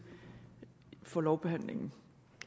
for lovbehandlingen